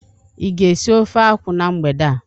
Ị ga-esi ofe akwụ na mgbede a.